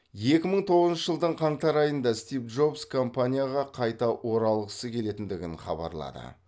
екі мың тоғызыншы жылдың қаңтар айында стив джобс компанияға қайта оралғысы келетіндігін хабарлады